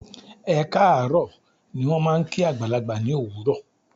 "Ẹ kaaro" ni wón máa ń kí àgbàlagbà ní òwúrò.